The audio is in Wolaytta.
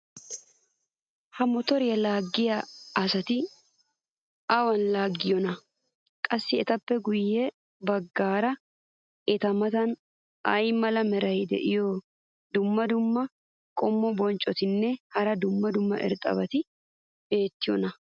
ha motoriya laagiya asati awan laagiyoonaa? qassi etappe guye bagaara eta matan ay mala meray diyo dumma dumma qommo bonccotinne hara dumma dumma irxxabati beetiyoonaa?